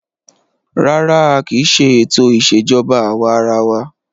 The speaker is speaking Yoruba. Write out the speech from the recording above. Rárá, a kì í ṣe ètò ìṣèjọba àwa arawa.